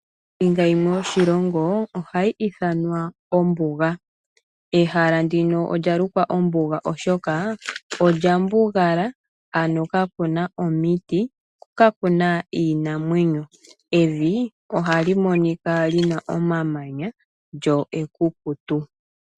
Ombinga yimwe yoshilongo ohayi ithanwa ombuga. Ehala ndino olya lukwa ombuga oshoka olya mbugala, ano kakuna omiti ko kakuna iinamwenyo, evi ohali monika lyina omamanya, lyo ekukutu.